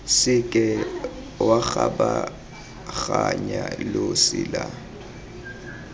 seke wa kgabaganya losi la